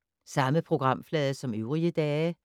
Samme programflade som øvrige dage